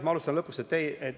Ma alustan lõpust.